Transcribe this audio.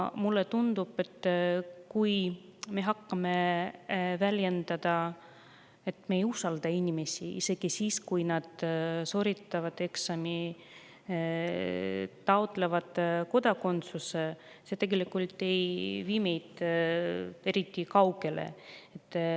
Mulle tundub, et kui me hakkame väljendama seda, et me ei usalda inimesi, isegi kui nad on sooritanud eksami ja taotlenud kodakondsuse, siis see ei vii meid eriti kaugele.